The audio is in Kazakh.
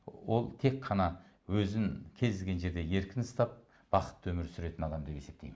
ол тек қана өзін кез келген жерде еркін ұстап бақытты өмір сүретін адам деп есептеймін